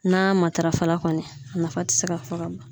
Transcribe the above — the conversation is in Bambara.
N'a matarafa kɔni a nafa te se ka fɔ ka ban